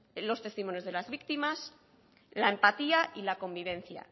los testimonios de las víctimas la empatía y la convivencia